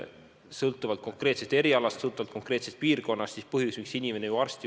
Ja põhjus, mis konkreetse eriala arsti juurde inimene ei jõua, sõltub piirkonnast ja on muidki erinevaid põhjusi.